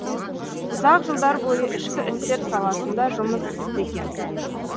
ұзақ жылдар бойы ішкі істер саласында жұмыс істеген